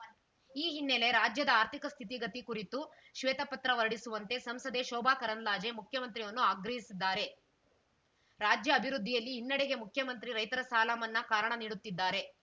ಈ ಹಿನ್ನೆಲೆ ರಾಜ್ಯದ ಆರ್ಥಿಕ ಸ್ಥಿತಿಗತಿ ಕುರಿತು ಶ್ವೇತಪತ್ರ ಹೊರಡಿಸುವಂತೆ ಸಂಸದೆ ಶೋಭಾ ಕರಂದ್ಲಾಜೆ ಮುಖ್ಯಮಂತ್ರಿಯವರನ್ನು ಆಗ್ರಹಿಸಿದ್ದಾರೆ ರಾಜ್ಯ ಅಭಿವೃದ್ಧಿಯಲ್ಲಿ ಹಿನ್ನಡೆಗೆ ಮುಖ್ಯಮಂತ್ರಿ ರೈತರ ಸಾಲ ಮನ್ನಾ ಕಾರಣ ನೀಡುತ್ತಿದ್ದಾರೆ